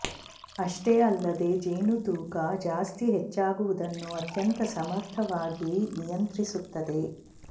ಅಷ್ಟೇ ಅಲ್ಲದೇ ಜೇನು ತೂಕ ಜಾಸ್ತಿ ಹೆಚ್ಚಾಗುವುದನ್ನು ಅತ್ಯಂತ ಸಮರ್ಥವಾಗಿ ನಿಯಂತ್ರಿಸುತ್ತದೆ